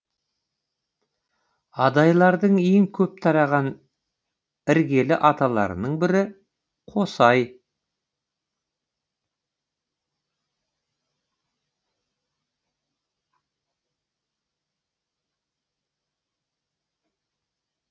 адайлардың ең көп тараған іргелі аталарының бірі қосай